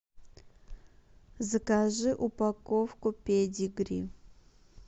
закажи упаковку педигри